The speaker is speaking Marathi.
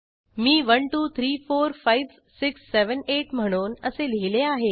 मी 12345678 म्हणून असे लिहिले आहे